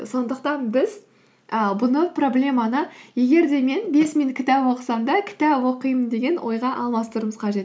сондықтан біз ііі бұны проблеманы егер де мен бес минут кітап оқысам да кітап оқимын деген ойға алмастыруымыз қажет